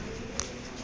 condom no sex